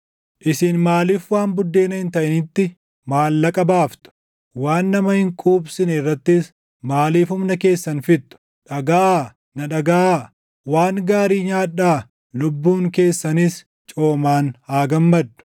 Isin maaliif waan buddeena hin taʼinitti maallaqa baaftu? Waan nama hin quubsine irrattis maaliif humna keessan fixxu? Dhagaʼaa; na dhagaʼaa; waan gaarii nyaadhaa; lubbuun keessanis coomaan haa gammaddu.